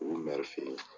U fe yen